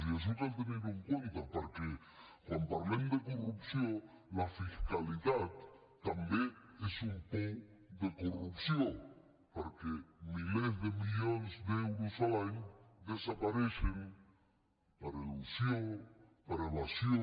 i això cal tenir ho en compte perquè quan parlem de corrupció la fiscalitat també és un pou de corrupció perquè milers de milions d’euros l’any desapareixen per elusió per evasió